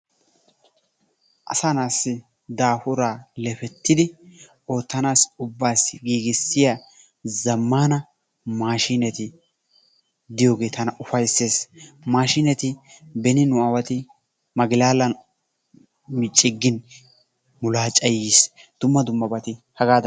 Asaa na'aassi daafuraa lefettidi oottanaassi ubbaassi giigissiya zammaana maashiineti diyogee tana ufayissees. Maashiineti beni nu aawati maglaalan ciggin mulaacay yiis. Dumma dummabati hagaadan.